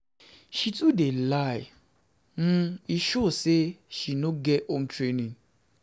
She too dey lie um e show sey she no get home training.